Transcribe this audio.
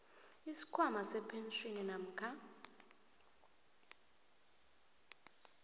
isikhwama sepentjhini namkha